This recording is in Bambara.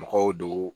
Mɔgɔw do